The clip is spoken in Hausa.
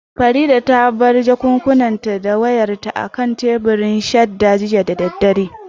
Farida ta bar jakunkunanta da wayarta akan teburin shadda jiya da daddare